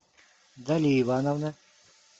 дали ивановна